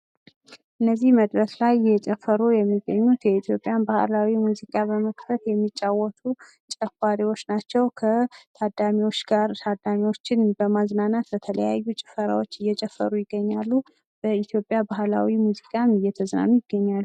እነዚህ መድረክ ላይ እየጨፈሩ የሚገኙት የኢትዮጵያን ባህላዊ ሙዚቃን በመክፈት የሚጫወቱ ጨፋሪዎች ናቸው። ከታዳሚዎች ጋር ታዳሚዎችን በማዝናናት የተለያዩ ጭፈራዎችን እየጨፈሩ ይገኛሉ። በኢትዮጵያ ባህላዊ ሙዚቃም እየተዝናኑ ይገኛሉ።